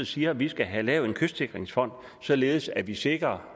siger at vi skal have lavet en kystsikringsfond således at vi sikrer